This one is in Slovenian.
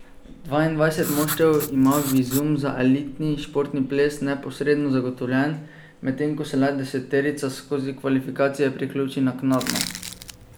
Dvaindvajset moštev ima vizum za elitni športni ples neposredno zagotovljen, medtem ko se le deseterica skozi kvalifikacije priključi naknadno.